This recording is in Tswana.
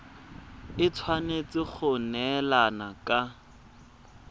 e tshwanetse go neelana ka